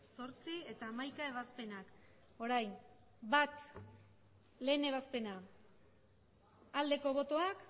zortzi eta hamaika ebazpenak orain batgarrena ebazpena aldeko botoak